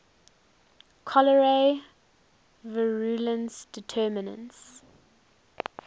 cholerae virulence determinants